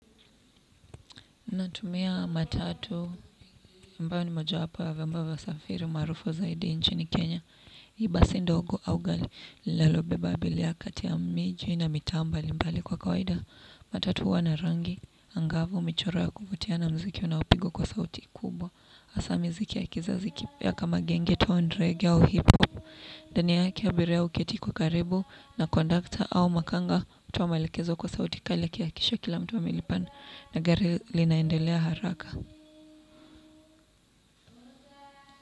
Natumia matatu ambao ni moja wapo ya viombo vya usafiri marufu zaidi nchini Kenya. Basi ndogo au gali linalo beba abilia kati ya miji na mitaa mbalimbali kwa kawaida. Matatu huwa na rangi angavu michoro ya kuvutia na mziki unaupigwa kwa sauti kubwa. Asa mziki ya kizazi kipya kama gengeton reggae au hip hop. Ndani yake abiria uketi kwa karibu na kondakta au makanga. Utoa maelekezo kwa sauti kaila akiakikisha kila mtu amelipana. Na gari linaendelea haraka.